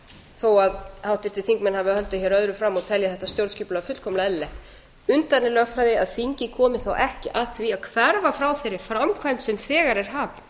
þó að háttvirtir þingmenn hafi haldið hér öðru fram og telji þetta stjórnskipulag fullkomlega eðlilegt undarleg lögfræði að þingið komi þá ekki að því að hverfa frá þeirri framkvæmd sem þegar er